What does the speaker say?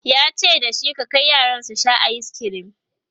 yace da shi"ka Kai yaran su Sha ayiskirim!"